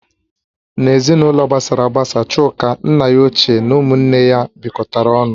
N'ezinụlọ ha gbasara agbasa Chuka, nna ya ochie na ụmụ nne ya bikotara ọnụ